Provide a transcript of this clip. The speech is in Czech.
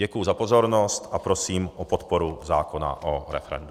Děkuji za pozornost a prosím o podporu zákona o referendu.